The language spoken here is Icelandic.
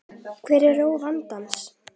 Hver er rót þessa vanda?